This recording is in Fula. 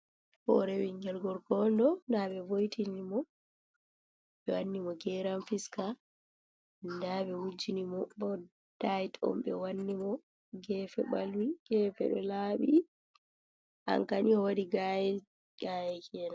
Horo ɓingel gorko onɗo nda be voitini mo ɓe wanni mo geran fiska nda ɓe wujini mo bo dait on ɓe wanni mo gefe ɓalwi gefe ɗo laabi anka ni o wadi gayi gayakena.